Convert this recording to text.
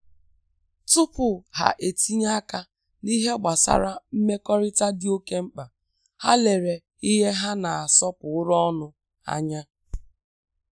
Tupu ha etinye aka n’ìhè gbasàra mmekọrịta dị ókè mkpa, hà lere ìhè hà na-asọpụrụ ọnụ ànyà.